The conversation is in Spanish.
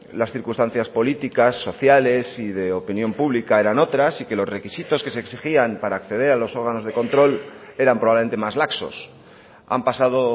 las circunstancias políticas sociales y de opinión pública eran otras y que los requisitos que se exigían para acceder a los órganos de control eran probablemente más laxos han pasado